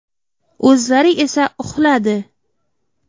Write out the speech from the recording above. O‘zlari esa uxladi.